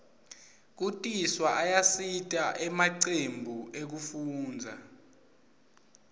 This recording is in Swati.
kutiswa ayasita emacembu ekufundza